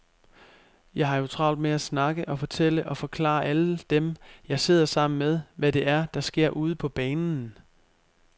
Jeg har jo travlt med at snakke og fortælle og forklare alle dem, jeg sidder sammen med, hvad det er, der sker ude på banen.